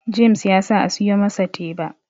James ya sa a siyo masa teba